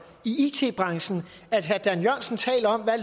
i it branchen at herre dan jørgensen taler om hvad